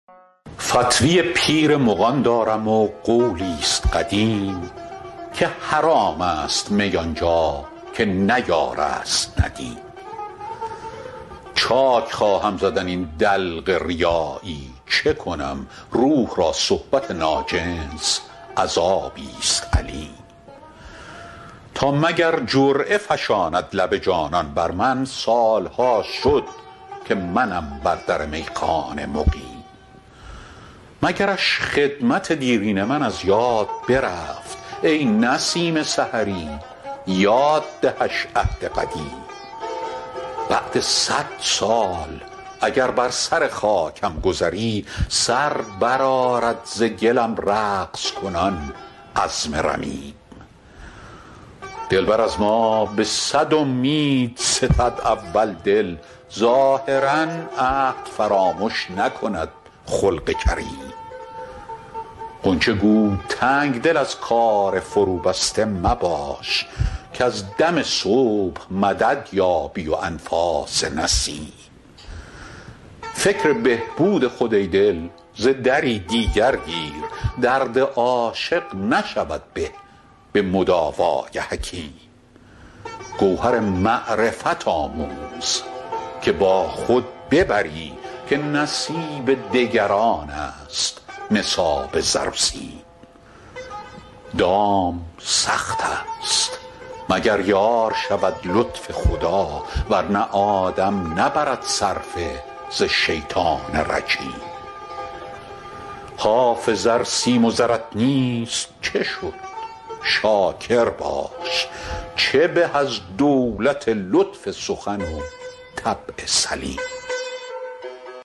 فتوی پیر مغان دارم و قولی ست قدیم که حرام است می آن جا که نه یار است ندیم چاک خواهم زدن این دلق ریایی چه کنم روح را صحبت ناجنس عذابی ست الیم تا مگر جرعه فشاند لب جانان بر من سال ها شد که منم بر در میخانه مقیم مگرش خدمت دیرین من از یاد برفت ای نسیم سحری یاد دهش عهد قدیم بعد صد سال اگر بر سر خاکم گذری سر برآرد ز گلم رقص کنان عظم رمیم دلبر از ما به صد امید ستد اول دل ظاهرا عهد فرامش نکند خلق کریم غنچه گو تنگ دل از کار فروبسته مباش کز دم صبح مدد یابی و انفاس نسیم فکر بهبود خود ای دل ز دری دیگر کن درد عاشق نشود به به مداوای حکیم گوهر معرفت آموز که با خود ببری که نصیب دگران است نصاب زر و سیم دام سخت است مگر یار شود لطف خدا ور نه آدم نبرد صرفه ز شیطان رجیم حافظ ار سیم و زرت نیست چه شد شاکر باش چه به از دولت لطف سخن و طبع سلیم